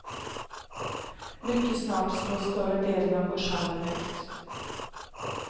Mycket snart slås större delen av börshandeln ut.